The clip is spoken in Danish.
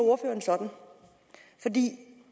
sådan er det